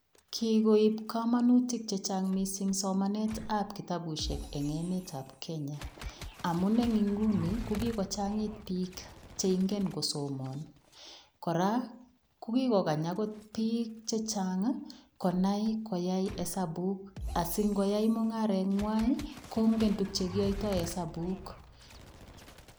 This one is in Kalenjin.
Kikoib komonutik chechang somanetab kitabushek en emetab Kenya, amun en ing'unii ko kikochangit biik cheingen kosoman, kora ko kikokany okot biik chechang konai koyai isabuk sing'oyai mung'areng'wai kong'en tukuk chekiyoito hesabuk.